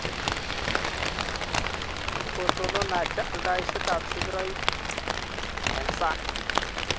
Kkikotonon Niger aldaisietab sigiroik eng sang